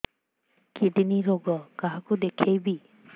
kidney ରୋଗ କାହାକୁ ଦେଖେଇବି